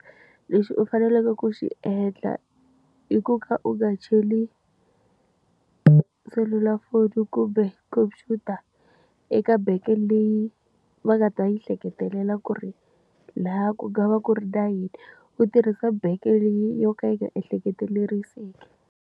Lexi u faneleke ku xi endla i ku ka u nga cheli selulafoni kumbe khomphyuta eka bank leyi va nga ta yi hleketelela ku ri lahaya ku nga va ku ri na yini. U tirhisa bank leyi yo ka yi nga ehleketeriseki.